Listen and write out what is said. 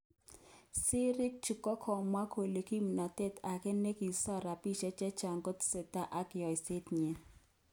Sirik chu kakamwa kole kipnotet ake nekisom rapishek chechang kotestai ak yeshoet nyin